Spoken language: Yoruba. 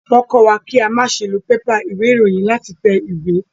Wọ́n kọ́ wa kí a ma se lo pépà ìwé ìròyìn láti tẹ ìwé